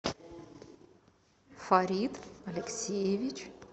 фарид алексеевич